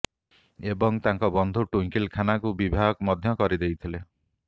ଏବଂ ତାଙ୍କ ବନ୍ଧୁ ଟ୍ୱୁଙ୍କିଲ ଖନ୍ନାଙ୍କୁ ବିବାହ ମଧ୍ୟ କରିଦେଇଥିଲେ